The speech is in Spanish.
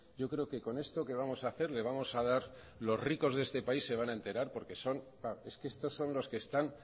yo creo que con esto que vamos a hacer le vamos a dar los ricos de este país se van a enterar porque estos son los que están